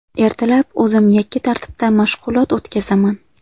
Ertalab o‘zim yakka tartibda mashg‘ulot o‘tkazaman.